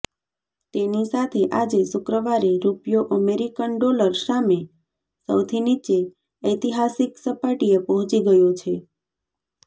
તેની સાથે આજે શુક્રવારે રૂપિયો અમેરિકન ડોલર સામે સૌથી નીચે ઐતિહાસિક સપાટીએ પહોંચી ગયો છે